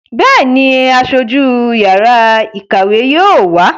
Bẹ́ẹ̀ni, Aṣojú yàrá ìkàwé yóò wá.